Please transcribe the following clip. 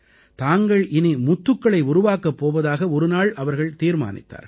தாங்கள் இனி முத்துக்களை உருவாக்கப் போவதாக ஒருநாள் அவர்கள் தீர்மானித்தார்கள்